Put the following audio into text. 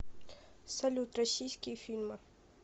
салют россииские фильмы